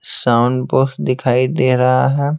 Sound box दिखाई दे रहा है।